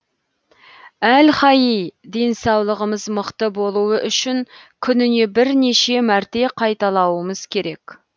әл хаий денсаулығымыз мықты болуы үшін күніне бірнеше мәрте қайталауымыз керек